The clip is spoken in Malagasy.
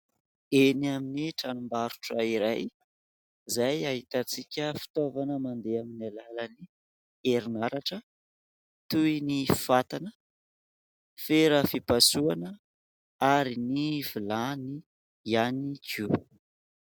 Eny amin'ny tranom-barotra iray izay ahitantsika fitaovana mandeha amin'ny alalan'ny herinaratra toy ny fatana, fera fipasohana ary ny vilany ihany koa.